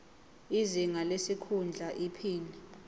izinga lesikhundla iphini